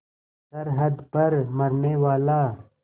सरहद पर मरनेवाला